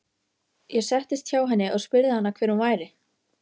Ég settist hjá henni og spurði hana hver hún væri.